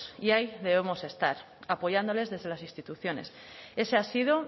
y ahí debemos estar apoyándoles desde las instituciones ese ha sido